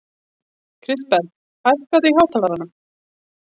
Kristberg, hækkaðu í hátalaranum.